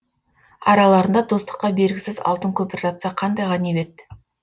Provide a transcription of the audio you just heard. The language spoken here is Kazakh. араларында достыққа бергісіз алтын көпір жатса қандай ғанибет